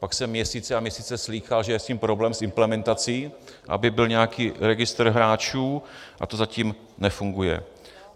Pak jsem měsíce a měsíce slýchal, že je s tím problém s implementací, aby byl nějaký registr hráčů, a to zatím nefunguje.